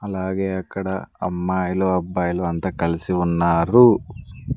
అలాగే అక్కడ అమ్మాయిలు అబ్బాయిలు అంత కలిసి ఉన్నారు.